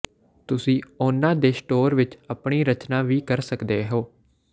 ਤੁਸੀਂ ਉਨ੍ਹਾਂ ਦੇ ਸਟੋਰ ਵਿਚ ਆਪਣੀ ਰਚਨਾ ਵੀ ਕਰ ਸਕਦੇ ਹੋ